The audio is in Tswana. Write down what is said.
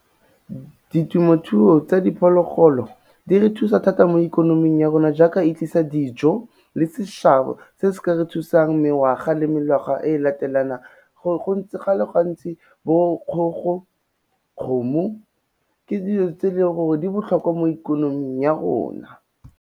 Ditemothuo tsa diphologolo, di re thusa thata mo ikonoming ya rona jaaka e tlisa dijo le seshabo, se se ka re thusang mengwaga le mengwaga e latelanang, go le gantsi bo kgogo, kgomo di botlhokwa mo ikonoming ya rona.